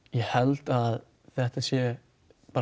ég held að þetta sé